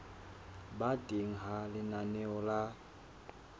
ba teng ha lenaneo la